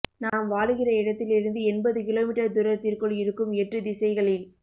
நாம் வாழுகிற இடத்திலிருந்து எண்பது கிலோமீட்டர் தூரத்திற்குள் இருக்கும் எட்டு திசைகளில்